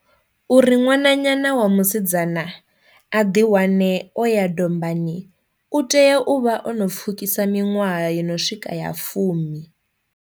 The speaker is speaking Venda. Uri ṅwananyana wa musidzana a ḓi wane o ya dombani u tea u vha o no pfhukisa miṅwaha yono swika ya fumi.